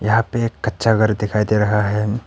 यहां पे एक कच्चा घर दिखाई दे रहा है।